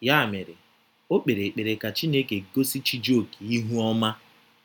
Ya mere, o kpere ekpere ka Chineke gosi Chijioke ihu ọma